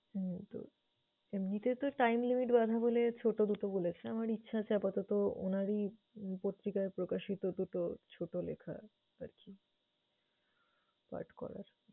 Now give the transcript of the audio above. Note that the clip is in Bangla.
হুম তো এমনিতে তো time limit বাঁধা বলে ছোট দুটো বলেছে। আমার ইচ্ছে আছে আপাতত উনারই উম পত্রিকার প্রকাশিত দুটো ছোট লেখা আরকি পাঠ করার।